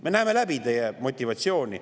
Me näeme läbi teie motivatsiooni.